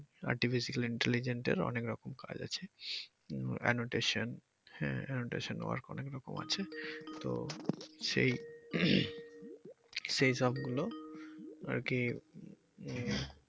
Artificial intelligent অনেক রকম কাজ আছে উম annotation হ্যা annotation work অনেক রকম আছে তো সেই সেই সব গুলো আরকি। উম